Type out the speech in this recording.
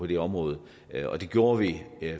det område og det gjorde vi